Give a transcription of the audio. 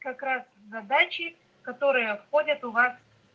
как раз на даче которые входят у вас